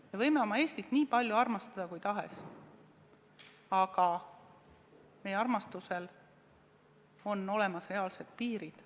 Me võime oma Eestit armastada kui palju tahes, aga meie armastusel on olemas reaalsed piirid.